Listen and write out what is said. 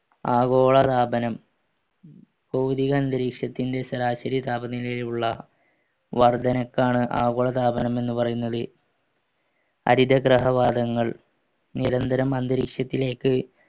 ആഗോളതാപനം അന്തരീക്ഷത്തിന്റെ ശരാശരി താപനിലയുള്ള വർദ്ധനക്കാണ് ആഗോളതാപനം എന്ന് പറയുന്നത് നിരന്തരം അന്തരീക്ഷത്തിലേക്ക്